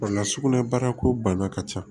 Wala sugunɛ bara ko bana ka ca